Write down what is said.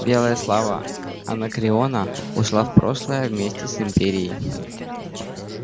белая слава анакреона ушла в прошлое вместе с империей